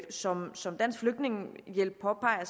som som dansk flygtningehjælp påpeger